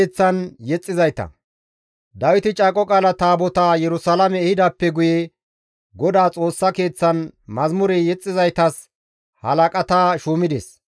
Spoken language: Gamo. Dawiti Caaqo Qaala Taabotaa Yerusalaame ehidaappe guye Godaa Xoossa Keeththan mazamure yexxizaytas halaqata shuumides.